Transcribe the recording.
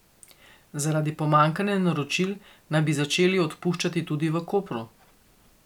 Zaradi pomanjkanja naročil naj bi začeli odpuščati tudi v Kopru.